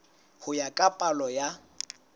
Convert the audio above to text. ho ya ka palo ya